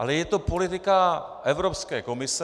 Ale je to politika Evropské komise.